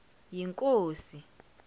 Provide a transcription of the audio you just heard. yinkosi